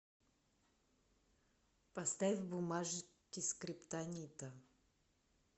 поставь бумажки скриптонита